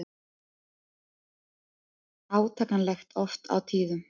Átakanlegt oft á tíðum.